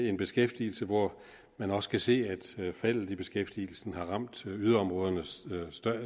en beskæftigelse hvor man også kan se at faldet i beskæftigelsen har ramt yderområderne